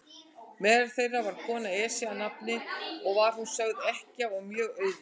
Meðal þeirra var kona, Esja að nafni, og var hún sögð ekkja og mjög auðug.